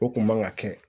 O kun man ka kɛ